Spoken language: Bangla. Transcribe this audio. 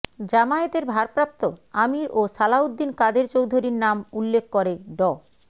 জামায়াতের ভারপ্রাপ্ত আমীর ও সালাউদ্দিন কাদের চৌধুরীর নাম উল্লেখ করে ড